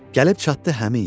Gəlib çatdı həmin yerə.